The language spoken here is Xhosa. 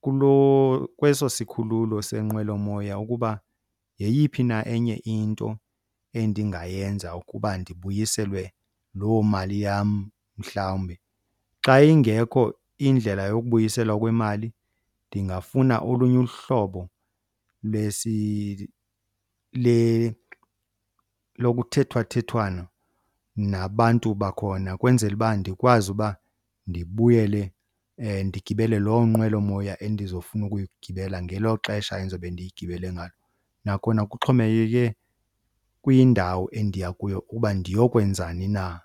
kuloo, kweso sikhululo senqweloyomoya ukuba yeyiphi na enye into endingayenza ukuba ndibuyiselwe loo mali yam mhlawumbi. Xa ingekho indlela yokubuyiselwa kwemali ndingafuna olunye uhlobo lokuthethwathethwano nabantu bakhona kwenzela uba ndikwazi uba ndibuyele ndigibele loo nqwelomoya endizofuna ukuyigibela ngelo xesha endizobe ndiyigibele ngalo. Nakhona kuxhomekeke kwindawo endiya kuyo uba ndiyokwenzani na.